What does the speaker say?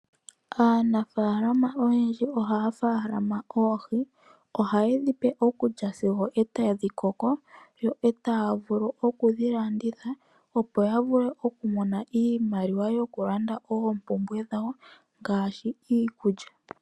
Aanafalama oyendji ohaya faalama oohi. Ohaye dhipe okulya sigo tadhi koko, yo taa vulu oku dhilanditha, opo ya vule oku mona iimaliwa yo ku landa oompubwe dhawo ngaashi iikulya.